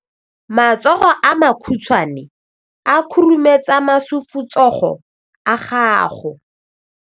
matsogo a makhutshwane a khurumetsa masufutsogo a gago